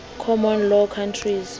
common law countries